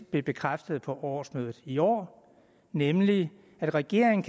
blev bekræftet på årsmødet i år nemlig at regeringen